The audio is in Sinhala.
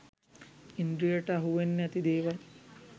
ඉන්ද්‍රියට අහුවෙන්නැති දේවල්